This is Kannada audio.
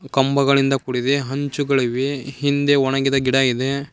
ಕಂಬಗಳಿಂದ ಕೂಡಿದೆ ಹಂಚುಗಳಿವೆ ಹಿಂದೆ ಒಣಗಿದ ಗಿಡ ಇದೆ.